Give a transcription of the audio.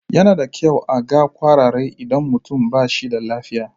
Yana da kyau a ga ƙwararre idan mutum ba shi da lafiya.